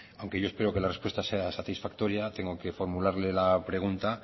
aunque yo espero que la respuesta sea satisfactoria tengo que formularle la pregunta